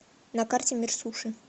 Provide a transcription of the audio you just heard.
на карте мир суши